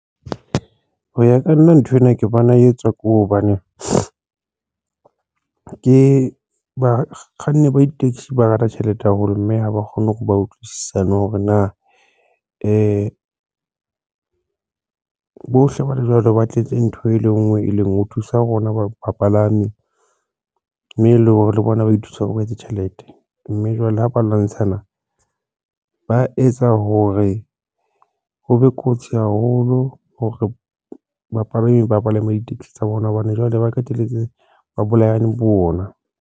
Hoya ka nna, nthwena ke bona e etswa ke hobane ke bakganni ba ditekesi ba rata tjhelete haholo mme ha ba kgone hore ba utlwisisane hore na bohle wa le jwalo, ba tletse ntho e le ngwe, e leng ho thusa rona bapalami mme le hore le bona ba ithusa hore ba etse tjhelete mme jwale ha ba lwantshana, ba etsa hore ho be kotsi haholo hore bapalami ba palama ditekesi tsa bona hobane jwale ba qetelletse ba bolayane bo bona.